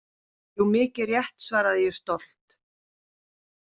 Jú, mikið rétt, svaraði ég stolt.